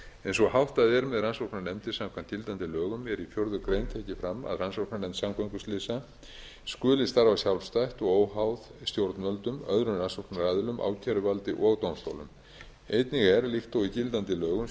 eins og háttað er með rannsóknarnefnd samkvæmt gildandi lögum er í fjórða grein tekið fram að rannsóknarnefnd samgönguslysa skuli starfa sjálfstætt og óháð stjórnvöldum öðrum rannsóknaraðilum ákæruvaldi og dómstólum einnig er líkt og í gildandi lögum